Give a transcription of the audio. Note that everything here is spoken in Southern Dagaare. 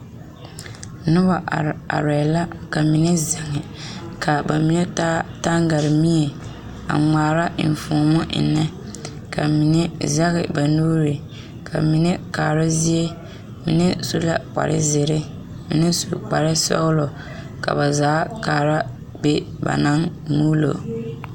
Noba arɛɛ arɛɛ la ka mine zeŋ ka ba mine yaa gaŋgare mie a ŋmaara enfuomo ennɛ ka mine sege ba nuure ka mine kaara zie mine su la kpar zeere mime su kpar sɔgelɔ la ba zaa kaara be ba naŋ muulo